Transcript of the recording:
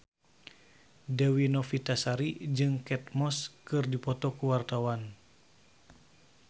Dewi Novitasari jeung Kate Moss keur dipoto ku wartawan